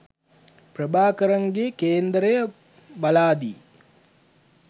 ප්‍රභාකරන්ගේ කේන්දරය බලාදී